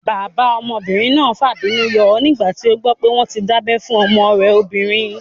Bàbá ọmọbìnrin náà fàbínú yọ nígbà tí ó gbọ́ pé wọ́n tí dábẹ́ fún ọmọ rẹ̀ obìnrin